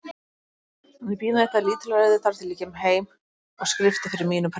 Ég bíð með þetta lítilræði þar til ég kem heim og skrifta fyrir mínum presti.